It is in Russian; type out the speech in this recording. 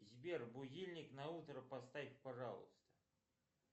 сбер будильник на утро поставь пожалуйста